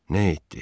Nə etdi?